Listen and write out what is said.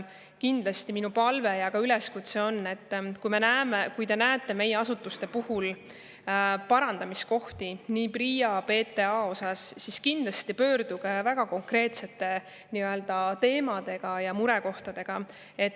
Kindlasti minu palve ja üleskutse on, et kui te näete meie asutuste puhul parandamiskohti, ka PRIA ja PTA puhul, siis kindlasti pöörduge meie poole väga konkreetsete teemade ja murekohtadega.